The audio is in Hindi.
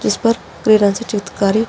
जिस पर पीले रंग से चित्रकारी --